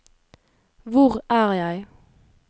hvor er jeg